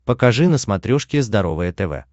покажи на смотрешке здоровое тв